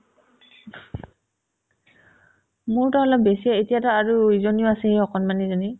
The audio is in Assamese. মোৰতো অলপ বেছিয়ে এতিয়াতো আৰু ইজনীও আছে এই অকনমানিজনী